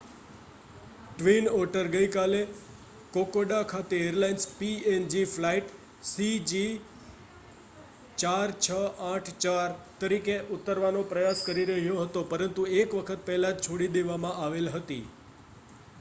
twin Otter ગઈકાલે Kokoda ખાતે airlines png flight cg4684 તરીકે ઉતરવાનો પ્રયાસ કરી રહ્યો હતો પરંતુ એક વખત પહેલા જ છોડી દેવામાં આવેલ હતી